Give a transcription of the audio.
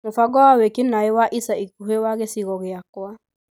Mũbango wa wĩki-naĩ wa ica ikuhĩ wa gĩcigo gĩakwa